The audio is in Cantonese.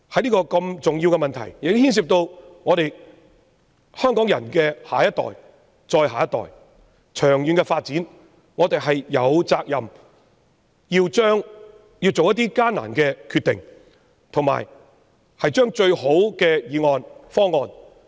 因此，在這個牽涉香港人的下一代、再下一代，以及長遠發展的重要問題上，我認為我們有責任作出艱難的決定，並提出最佳方案。